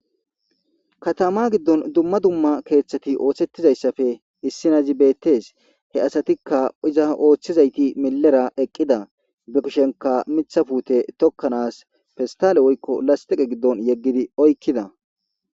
Katama giddoni dumma dumma keeththati oththetizayisappe isinazi beettesi he asatikka iza oththizayit milera eqida ba kushenikka miththa putte tokkanas pistale woyikko lastikke giddoni oyikida